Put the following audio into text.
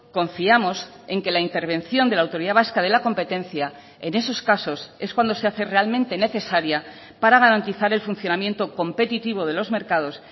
confiamos en que la intervención de la autoridad vasca de la competencia en esos casos es cuando se hace realmente necesaria para garantizar el funcionamiento competitivo de los mercados